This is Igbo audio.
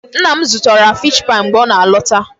Nna m zụtara fish pie mgbe ọ na-alọta.